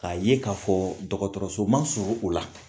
k'a ye k'a fɔ dɔgɔtɔrɔso man surun u la